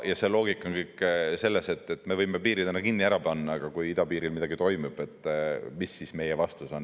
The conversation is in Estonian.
Aga see loogika on kõik selles, et me võime ju piirid kinni panna, aga kui idapiiril midagi toimub, mis siis meie vastus on.